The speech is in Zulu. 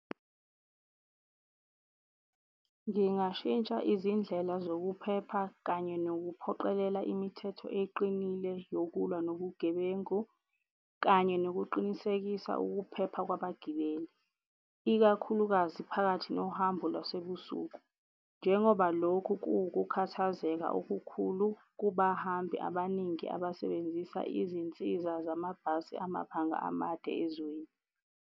Ngingashintsha izindlela zokuphepha kanye nokuphoqelela imithetho eqinile yokulwa nobugebengu, kanye nokuqinisekisa ukuphepha kwabagibeli ikakhulukazi phakathi nohambo lwasebusuku. Njengoba lokhu kuwukukhathazeka okukhulu kubahambi abaningi abasebenzisa izinsiza zamabhasi amabanga amade ezweni.